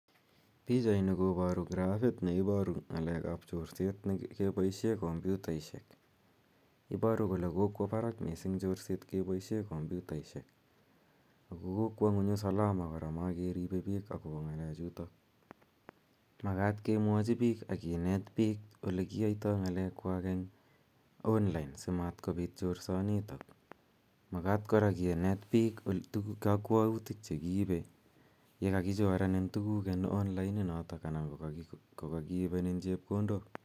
Pichaini koparu grafit ne iparu ng'alek ap chorset kepaishe kompyutaishek. Iparu kole kokwa parak missing' chorset kepaishe kompyutaishek ako kokwa ng'uny usalama kora makeripe pik akopa ng'alechutok. Makat kemwachi pik ak kinet pik ole kiyaitai ng'alekwak eng' online simatkopit chorsanitok. Makat kora kinet pik kakwautik che kiipe ye kakichorenin tuguk en online inotok anan ko kakiipenin chepkondok.